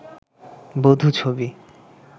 বধূ ছবি